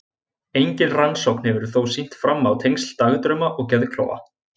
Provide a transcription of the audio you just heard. Engin rannsókn hefur þó sýnt fram á tengsl dagdrauma og geðklofa.